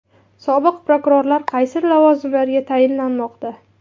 Sobiq prokurorlar qaysi lavozimlarga tayinlanmoqda?